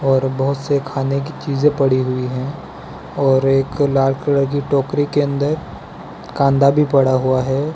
और बहोत से खाने की चीजे पड़ी हुई है और एक लाल कलर की टोकरी के अंदर कांधा भी पड़ा हुआ है।